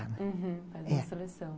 Uhum, fazer a seleção, é.